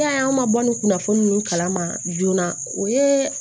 E y'a ye an ma bɔ nin kunnafoni ninnu kala ma joona o ye